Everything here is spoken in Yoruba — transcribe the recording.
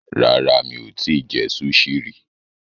Rárá, mi ò tí ì jẹ súṣì rí.